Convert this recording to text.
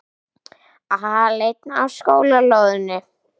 Aleinn á skólalóðinni.